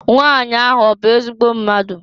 Nwanyị ahụ ọ bụ ezigbo mmadụ?